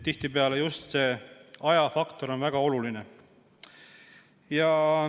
Tihtipeale on just ajafaktor väga oluline.